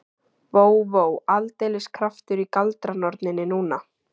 Vó, vó, aldeilis kraftur í galdranorninni núna.